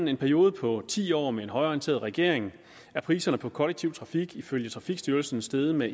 i en periode på ti år med en højreorienteret regering er priserne på den kollektive trafik ifølge trafikstyrelsen steget med